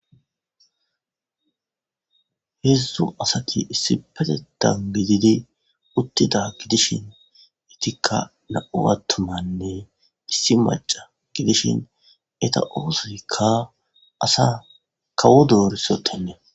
Hedzdzu asat issippetethan gidid utida gidishn etika 2 atumanne issi maca gidishn eta oothoyka asata kawo dorisota.